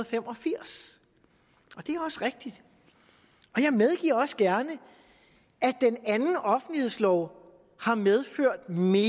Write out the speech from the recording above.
fem og firs og det er også rigtigt og jeg medgiver også gerne at den anden offentlighedslov har medført mere